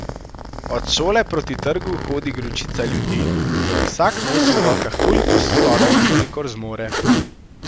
Od šole proti trgu hodi gručica ljudi in vsak nosi v rokah toliko stolov, kolikor zmore.